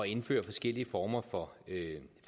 indføre forskellige former for